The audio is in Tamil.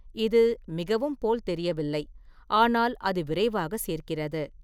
இது மிகவும் போல் தெரியவில்லை, ஆனால் அது விரைவாக சேர்க்கிறது.